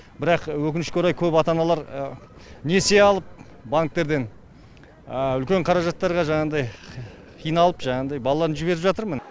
бірақ өкінішке орай көп ата аналар несие алып банктардан үлкен қаражаттарға жаңағыдай қиналып жаңағыдай балаларын жіберіп жатыр міне